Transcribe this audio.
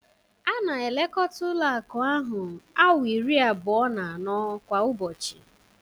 A na-elekota Ụlọ akụ ahụ awaa iri abụọ na anọ kwa ụbọchị.